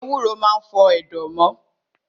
Ewúro maa n pa ẹ̀dọ̀